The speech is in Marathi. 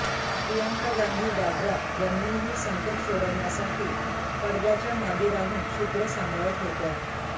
प्रियंका गांधी वाड्रा यांनीही संकट सोडवण्यासाठी पडद्याच्या मागे राहून सुत्रं सांभाळत होत्या